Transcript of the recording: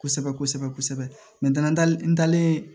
Kosɛbɛ kosɛbɛ kosɛbɛ n dalen n dalen